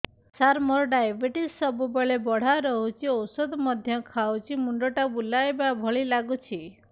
ସାର ମୋର ଡାଏବେଟିସ ସବୁବେଳ ବଢ଼ା ରହୁଛି ଔଷଧ ମଧ୍ୟ ଖାଉଛି ମୁଣ୍ଡ ଟା ବୁଲାଇବା ଭଳି ଲାଗୁଛି